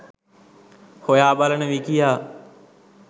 හොයා බලන විකියා